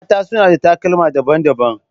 Mata suna sa takalma daban-daban.